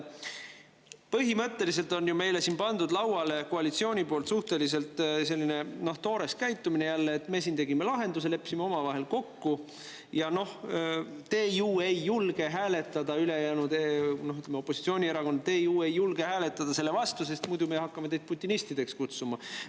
Põhimõtteliselt on ju meile siin pandud lauale koalitsiooni suhteliselt toore käitumise jälle: me siin tegime lahenduse, leppisime omavahel kokku ja noh, te ülejäänud, ütleme, opositsioonierakonnad, ei julge ju hääletada selle vastu, sest muidu me hakkame teid putinistideks kutsuma.